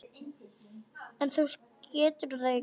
En þú getur það ekki.